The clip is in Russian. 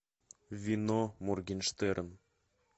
вино моргенштерн